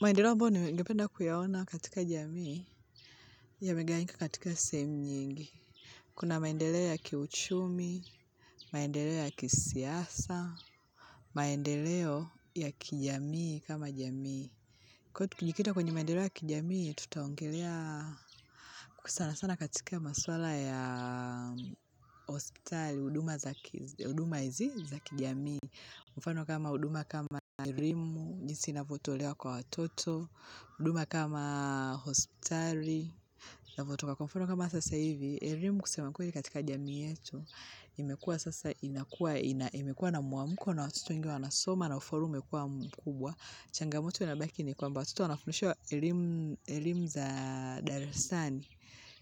Maendeleo ambayo ningependa kuyaona katika jamii yamegawanyika katika sehemu nyingi. Kuna maendeleo ya kiuchumi, maendeleo ya kisiasa, maendeleo ya kijamii kama jamii. Kwa hivyo tukijikita kwenye maendeleo ya kijamii, tutaongelea sana sana katika maswala ya hospitali, huduma za huduma hizi za kijamii. Mfano kama huduma kama elimu, jinsi inavyotolewa kwa watoto, huduma kama hospitali, inavyotoka kwa mfano kama sasa hivi. Elimu kusema kweli katika jamii yetu, imekuwa sasa inakua, imekuwa na muamuko na watoto wengi wanasoma na ufaulu umekua mkubwa. Changamoto inabaki ni kwamba watoto wanafundishwa elimu za darasani.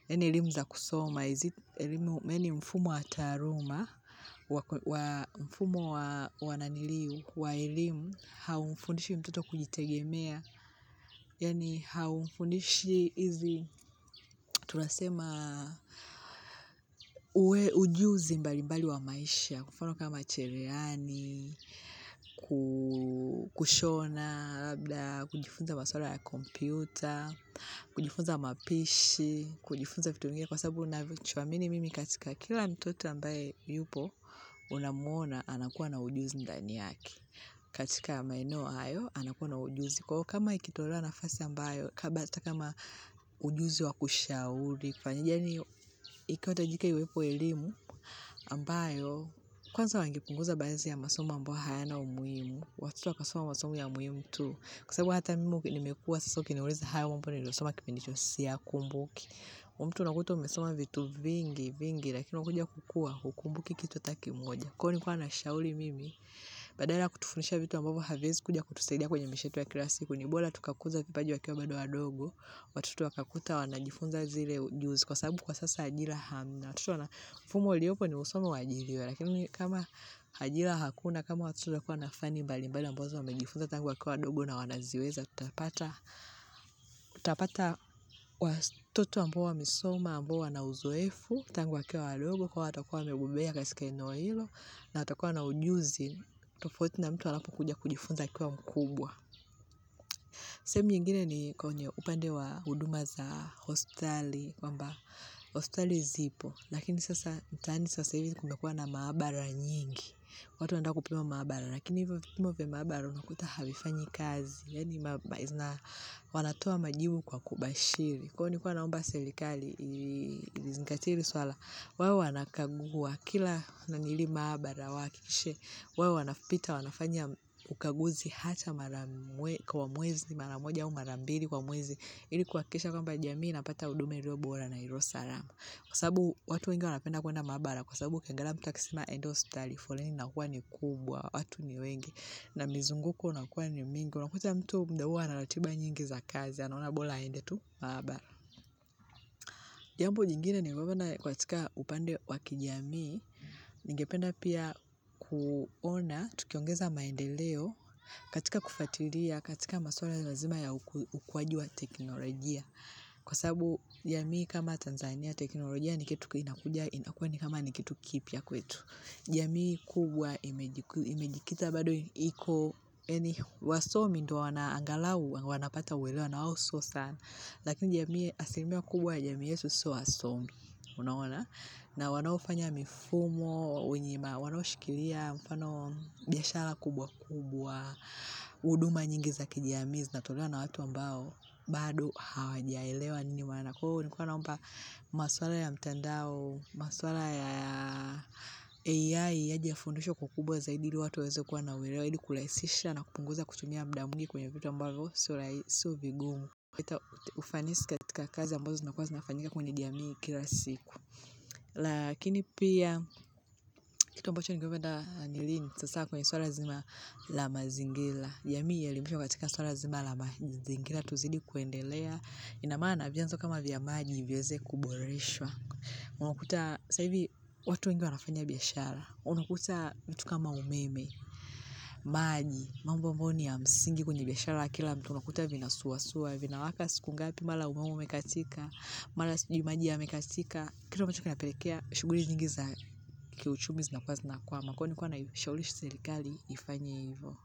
Yaani elimu za kusoma hizi, yaani mfumo wa tahaluma, mfumo wananiliu wa elimu, haumfundishi mtoto kujitegemea. Yaani haumfundishi hizi, tunasema, ujuzi mbali mbali wa maisha. Kwa mfano kama cherehani, kushona labda, kujifunza maswala ya kompyuta, kujifunza mapishi, kujifunza vitu vingine, kwa sababu ninachoamini mimi katika kila mtoto ambaye yupo, unamuona, anakuwa na ujuzi ndani yake. Katika maeno hayo, anakuwa na ujuzi. Kwa hivyo, kama ikitolewa nafasi ambayo, kaa basi hata kama ujuzi wa kushauri. Tafanyaje hiyo, ikiwa yahitajika iwepo elimu ambayo kwanza wangepunguza baadhi ya masomo ambayo hayana umuhimu watoto wakasoma masomo ya muhimu tu kwa sababu hata mimi nimekua so ukiniuliza hayo mambo niliyosoma kipindi hicho siyakumbuki mtu unakuta umesoma vitu vingi vingi lakini ukikuja kukua hukumbuki kitu hata kimoja kwa hivyo nilikua nashauri mimi badala ya kutufundisha vitu ambavyo haviwezi kuja kutusaidia kwenye maisha yetu ya kila siku ni bora tukakuza kipaji wakiwa bado wadogo watoto wakakuta wanajifunza zile ujuzi, kwa sababu kwa sasa ajira hamna. Watoto mfumo uliopo ni husome huajiriwe lakini kama ajira hakuna kama watoto watakua na fani mbali mbali ambazo wamejifunza tangu wakiwa wadogo na wanaziweza. Tutapata tutapata watoto ambao wamesoma ambao wana uzoefu tangu wakiwa wadogo kwa hivyo watakuwa wamegobea katika eneo hilo na watakuwa na ujuzi tofauti na mtu anapokuja kujifunza akiwa mkubwa. Sehemi nyingine ni kwenye upande wa huduma za hospitali kwamba hospitali zipo lakini sasa mtaani sasa hivi kumekua na maabara nyingi watu wanataka kupima maabara, lakini hivyo vipimo vya maabara unakuta havifanyi kazi yaani wanatoa majibu kwa kubashiri kwa hivyo nilikua naomba serikali izingatie hili suala wawe wanakagua kila nangiri maabara wahakikishe wawe wanapita wanafanya ukaguzi hata mara mwezi, mara moja au mara mbili kwa mwezi ili kuhakikisha kwamba jamii inapata huduma iliobora na iliosalama, kwa sababu watu wengi wanapenda kwenda maabara kwa sababu ukiangalia mtu akisema enda hospitali flani inakua ni kubwa, watu ni wengi na mizunguko unakua ni mingi, unakuta mtu muda huo ana ratiba nyingi za kazi, anaona bora aende tu, maabara. Jambo jingine nimeona katika upande wa kijamii, ningependa pia kuona tukiongeza maendeleo katika kufuatilia, katika masuala lazima ya ukuaji wa teknolojia, kwa sabu jamii kama Tanzania teknolojia ni kitu kinakuja, inakua ni kama ni kitu kipya kwetu. Jamii kubwa imejikita bado iko, yaani Wasomi ndo wanaangalau, wanapata uelewa na wao sio sana, lakini asilimia kubwa ya jamii yetu sio wasomi, unaona, na wanaofanya mifumo, wanashikilia, mfano biashara kubwa kubwa, huduma nyingi za kijamii zinatolewa na watu ambao, bado hawajaelewa nini wanako, kwa hivyo nilikuwa naomba masuala ya mtandao, masuala ya AI, yaje yafundishwe kwa ukubwa zaidi, ili watu waweze kuwa na uelewa, ili kurahisisha na kupunguza, kutumia muda mwingi kwenye vitu ambavyo sio vigumu. Kuleta ufanisi katika kazi ambazo zinakua zinafanyika kwenye jamii kila siku. Lakini pia kitu ambacho ningependa ni lini, sasa kwenye suala zima la mazingira. Jamii ielimishwe katika suala zima la mazingira tuzidi kuendelea ina maana vyanzo kama vya maji viweze kuboreshwa. Unakuta saa hivi watu wengi wanafanya biashara. Unakuta kitu kama umeme, maji, mambo amboyo ni ya msingi kwenye biashara kila mtu, unakuta vinasuwasuwa, vinawaka siku ngapi mara umeme umekatika mara sijui maji yamekatika kitu ambacho kinapelekea shughuli nyingi za kiuchumi zinakwama kwa hivyo nilikua naishawishi serikali ifanye hivo.